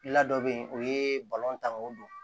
La dɔ bɛ yen o ye don